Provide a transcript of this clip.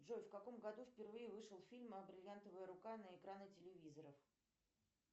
джой в каком году впервые вышел фильм о бриллиантовая рука на экраны телевизоров